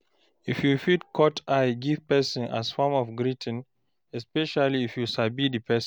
You fit cut eye give person as form of greeting, especially if you sabi di person